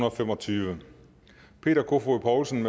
og fem og tyve peter kofod poulsen